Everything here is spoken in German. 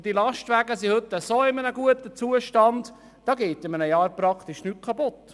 Und die Lastwagen sind heutzutage in einem so guten Zustand, dass innerhalb eines Jahres praktisch nichts kaputtgeht.